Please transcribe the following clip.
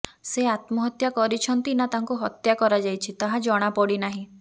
ସେ ଆତ୍ମହତ୍ୟା କରିଛନ୍ତି ନା ତାଙ୍କୁ ହତ୍ୟା କରାଯାଇଛି ତାହା ଜଣାପଡ଼ିନାହିଁ